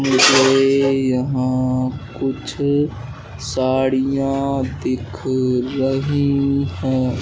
मुझे यहां कुछ साड़िया दिख रही है।